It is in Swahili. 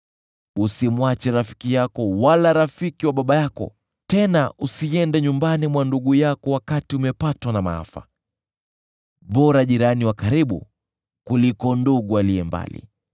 Usimwache rafiki yako wala rafiki wa baba yako, tena usiende nyumbani mwa ndugu yako wakati umepatwa na maafa. Bora jirani wa karibu kuliko ndugu aliye mbali.